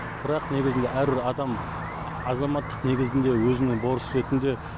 бірақ негізінде әрбір адам азаматтық негізінде өзінің борышы ретінде